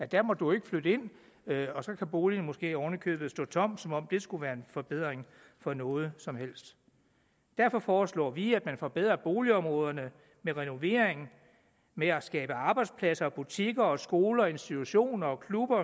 der må du ikke flytte ind og så kan boligen måske oven i købet stå tom som om det skulle være en forbedring på noget som helst derfor foreslår vi at man forbedrer boligområderne med renovering med at skabe arbejdspladser butikker skoler institutioner og klubber